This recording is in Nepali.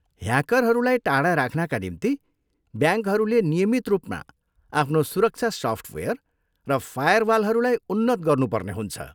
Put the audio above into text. ह्याकरहरूलाई टाढा राख्नका निम्ति ब्याङ्कहरूले नियमित रूपमा आफ्नो सुरक्षा सफ्टवेयर र फायरवालहरूलाई उन्नत गर्नुपर्ने हुन्छ।